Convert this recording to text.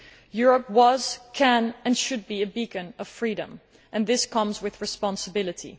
Europe was, can and should be a beacon of freedom, and this comes with responsibility.